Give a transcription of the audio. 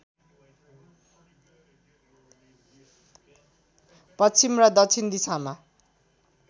पश्चिम र दक्षिण दिशामा